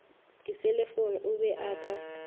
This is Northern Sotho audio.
diselefoune o be a ka